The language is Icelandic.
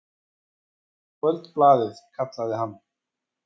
Kvöldblaðið, kallaði hann.